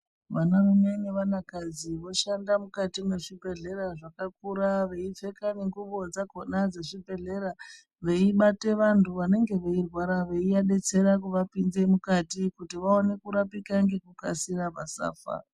Vanarume nevanakadzi voshanda mukati mezvibhedhlera zvakakura veipfeka nengubo dzakona dzechibhedhlera. Veibate vanthu vanenge veirwara veiadetsera kuvapinze mukati kuti vaone kurapika ngekukasira vasafa.